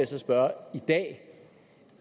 så spørge at